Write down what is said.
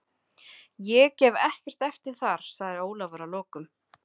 Ég gef ekkert eftir þar, sagði Ólafur að lokum.